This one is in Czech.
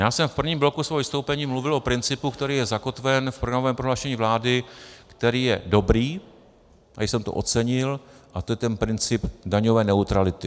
Já jsem v prvním bloku svého vystoupení mluvil o principu, který je zakotven v programovém prohlášení vlády, který je dobrý, i jsem to ocenil, a to je ten princip daňové neutrality.